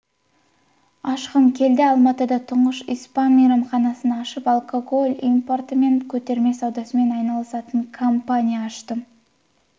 ашқым келді алматыда тұңғыш испан мейрамханасын ашып алкоголь импорты мен көтерме саудасымен айналысатын компания аштым